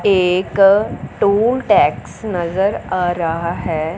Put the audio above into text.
एक toll tax नजर आ रहा है।